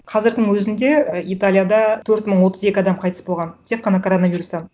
қазірдің өзінде ы италияда төрт мың отыз екі адам қайтыс болған тек қана коронавирустан